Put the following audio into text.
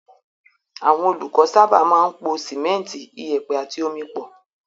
Àwọn olùkọ́ sábà máa ń po sìmẹ́ńtì, ìyẹ̀pẹ̀ àti omi pọ̀.